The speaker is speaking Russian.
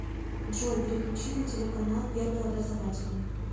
джой переключить на телеканал первый образовательный